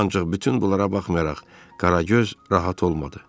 Ancaq bütün bunlara baxmayaraq Qaragöz rahat olmadı.